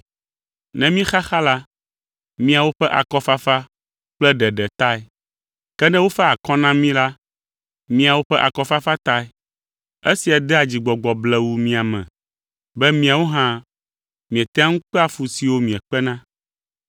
Ne míexaxa la, miawo ƒe akɔfafa kple ɖeɖe tae; ke ne wofa akɔ na mí la, miawo ƒe akɔfafa tae. Esia dea dzigbɔgbɔ blewuu mia me be miawo hã mietea ŋu kpea fu siwo miekpena.